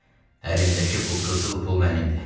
Əlimdəki bu qızıl pul mənimdir.